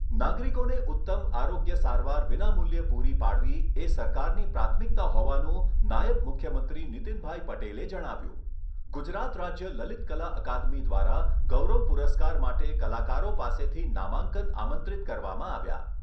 નાગરિકોને ઉત્તમ આરોગ્ય સારવાર વિનામૂલ્યે પુરી પાડવી એ સરકારની પ્રાથમિકતા હોવાનું નાયબ મુખ્યમંત્રી નિતિનભાઈ પટેલે જણાવ્યુંં. ગુજરાત રાજ્ય લલિતકલા અકાદમી દ્વારા ગૌરવ પુરસ્કાર માટે કલાકારો પાસેથી નામાંકન આમંત્રિત કરવામાં આવ્યા.